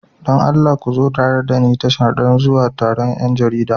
Don Allah ku zo tare da ni tashar don zuwa taron 'yan jarida.